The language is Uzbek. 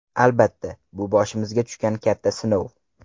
Albatta, bu boshimizga tushgan katta sinov.